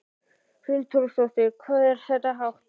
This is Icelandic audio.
Hrund Þórsdóttir: Hvað er þetta hátt?